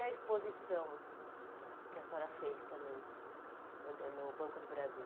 a exposição que a senhora fez também foi ganhou o Banco do Brasil?